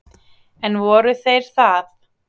En voru þeir það?